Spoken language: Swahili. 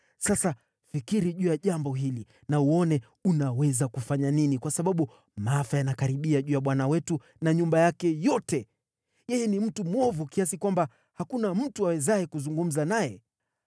Sasa fikiri juu ya jambo hili na uone unaweza kufanya nini, kwa sababu maafa yanakaribia juu ya bwana wetu na nyumba yake yote. Yeye ni mtu mwovu kiasi kwamba hakuna mtu awezaye kuzungumza naye.”